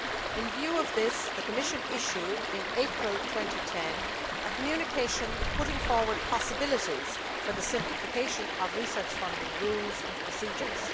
In view of this the Commission issued, in April 2010, a Communication putting forward possibilities for the simplification of research funding rules and procedures.